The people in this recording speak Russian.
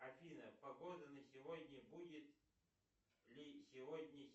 афина погода на сегодня будет ли сегодня